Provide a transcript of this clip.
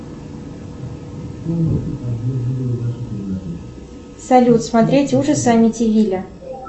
салют смотреть ужасы амитивилля